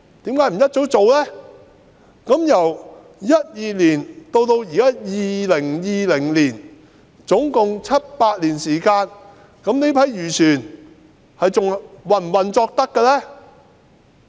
由2012年至今2020年共有七八年時間，這些漁船仍可以運作嗎？